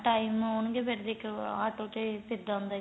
time ਹੋਣ ਗੇ ਫੇਰ ਦੇਖੋ auto ਤੇ ਫੇਰ ਜਾਂਦੇ